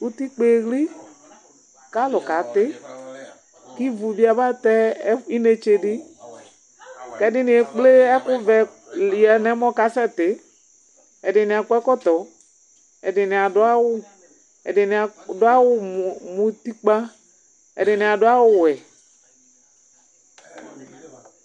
utikpa eɣli ku alu kati , ku ivu bi aba tɛ inetse di, ku ɛdini ekple ɛku vɛ du nu ɔmɔ ka sɛti, ɛdini akɔ ɛkɔtɔ, ɛdini adu awu, ɛdini adu awu mu utikpa, ɛdini adu awu wɛ